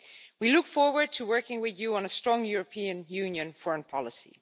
We look forward to working with you on a strong European Union foreign policy.